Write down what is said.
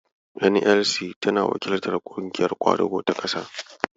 "NLC" tana wakiltar "Ƙungiyar Ƙwadago ta Ƙasa".